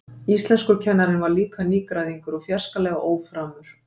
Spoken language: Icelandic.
Íslenskukennarinn var líka nýgræðingur og fjarskalega óframur.